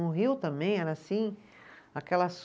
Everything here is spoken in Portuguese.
No Rio também era assim, aquelas